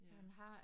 Ja